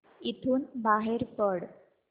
इथून बाहेर पड